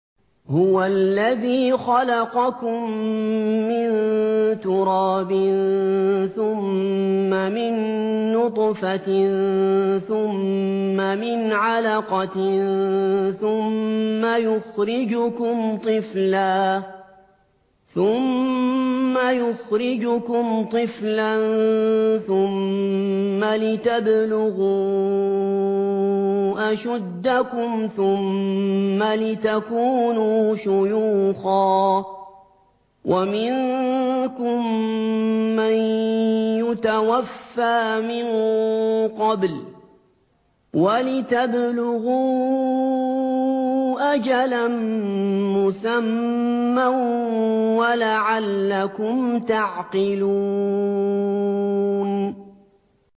هُوَ الَّذِي خَلَقَكُم مِّن تُرَابٍ ثُمَّ مِن نُّطْفَةٍ ثُمَّ مِنْ عَلَقَةٍ ثُمَّ يُخْرِجُكُمْ طِفْلًا ثُمَّ لِتَبْلُغُوا أَشُدَّكُمْ ثُمَّ لِتَكُونُوا شُيُوخًا ۚ وَمِنكُم مَّن يُتَوَفَّىٰ مِن قَبْلُ ۖ وَلِتَبْلُغُوا أَجَلًا مُّسَمًّى وَلَعَلَّكُمْ تَعْقِلُونَ